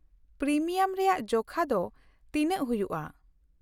-Premium ᱨᱮᱭᱟᱜ ᱡᱚᱠᱷᱟ ᱫᱚ ᱛᱤᱱᱟᱹᱜ ᱦᱩᱭᱩᱜᱼᱟ ?